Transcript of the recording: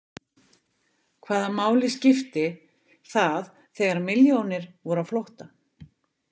Hvaða máli skipti það þegar milljónir voru á flótta?